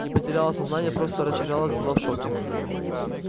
не потеряла сознание просто растерялась была в шоке